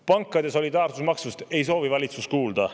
Pankade solidaarsusmaksust ei soovi valitsus kuulda.